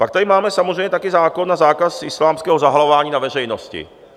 Pak tady máme samozřejmě také zákon na zákaz islámského zahalování na veřejnosti.